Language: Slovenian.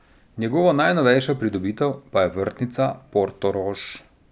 Njegova najnovejša pridobitev pa je vrtnica Portorož.